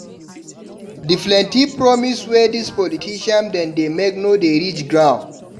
Di plenty promise wey dis politician dem dey make no dey reach ground.